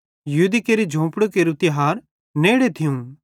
यहूदी केरू झोंफड़ी केरू तिहार तेम्बु नेड़ू थियूं